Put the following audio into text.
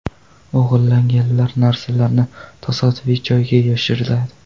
O‘g‘irlangan narsalarni tasodifiy joyga yashiradi.